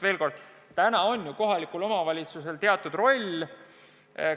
Veel kord: kohalikul omavalitsusel on ju nende teenuste puhul oma roll.